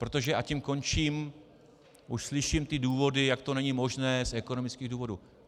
Protože, a tím končím, už slyším ty důvody, jak to není možné z ekonomických důvodů.